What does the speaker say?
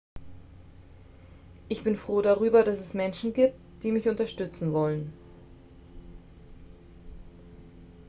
ich bin froh darüber dass es menschen gibt die mich unterstützen wollen